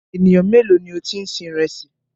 Ènìyàn méèló ni o ti ń sin ìrẹsì?